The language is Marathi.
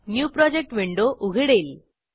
न्यू प्रोजेक्ट विंडो उघडेल